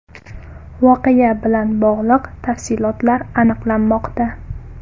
Voqea bilan bog‘liq tafsilotlar aniqlanmoqda.